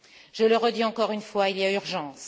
Je le redis encore une fois, il y a urgence.